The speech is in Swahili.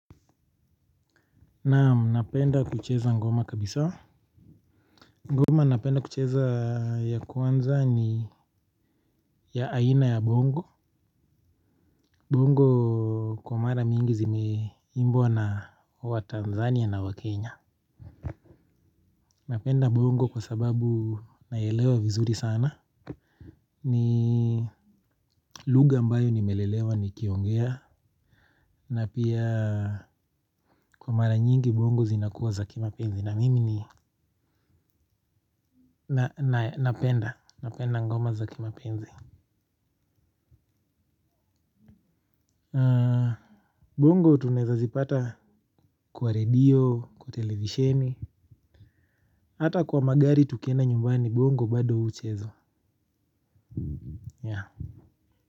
Naam. Napenda kucheza ngoma kabisa. Ngoma napenda kucheza ya kwanza ni ya aina ya bongo. Bongo kwa mara mingi zimeimbwa na Watanzania na Wakenya. Napenda bongo kwa sababu naelewa vizuri sana. Ni lugha ambayo nimelelewa nikiongea na pia kwa mara nyingi bongo zinakuwa za kimapenzi na mimi ni napenda ngoma za kimapenzi. Bongo tunaeza zipata kwa redio, kwa televisheni hata kwa magari tukienda nyumbani bongo bado huchezwa.